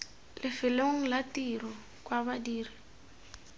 lefelong la tiro kwa badiri